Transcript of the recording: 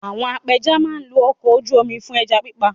Àwọn apẹja máa lo ọkọ̀ ojú mi fún ẹja pípa